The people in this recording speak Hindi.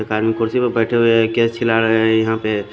कुड्सी पे बेठे हुए है के चिला रे है यहा पे--